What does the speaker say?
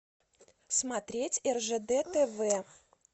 смотреть ржд тв